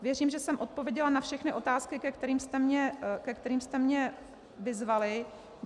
Věřím, že jsem odpověděla na všechny otázky, ke kterým jste mě vyzvali.